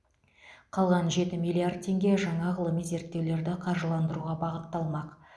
қалған жеті миллиард теңге жаңа ғылыми зерттеулерді қаржыландыруға бағытталмақ